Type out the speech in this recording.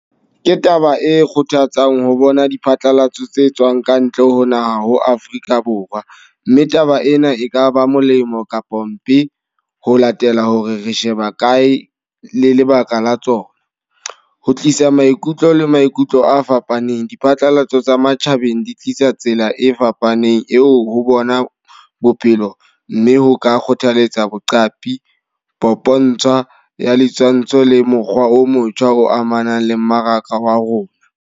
Ke taba e kgothatsang ho bona diphatlalatso tse tswang kantle ho naha ho Afrika Borwa. Mme taba ena e kaba molemo kapa mpe ho latela hore re sheba kae le lebaka la tsona. Ho tlisa maikutlo le maikutlo a fapaneng, diphatlalatso tsa matjhabeng di tlisa tsela e fapaneng eo ho bona bophelo. Mme ho ka kgothaletsa boqapi, popontshwa ya ditshwantsho le mokgwa o motjha o amanang le mmaraka wa rona.